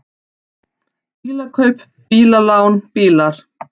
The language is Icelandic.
BÍLAKAUP, BÍLALÁN, BÍLAR